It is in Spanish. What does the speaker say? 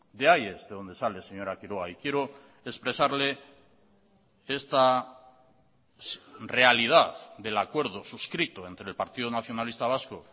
de ahí es de donde sale señora quiroga y quiero expresarle esta realidad del acuerdo suscrito entre el partido nacionalista vasco